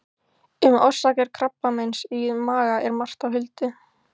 Um orsakir krabbameins í maga er margt á huldu.